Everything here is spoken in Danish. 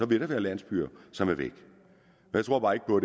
vil der være landsbyer som er væk jeg tror bare ikke på